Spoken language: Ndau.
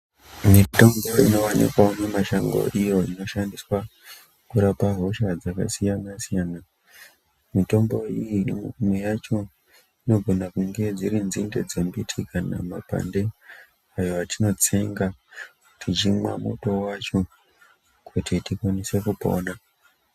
Mitombo inowanikwa mumashango iyo inoshandiswa kurapa hosha dzakasiyana-siyana. Mitombo iyi, imwe yacho dzinogone kunge dziri nzidzino kana mapande ayo etinotsenga tichimwa muto wacho kuti tipone.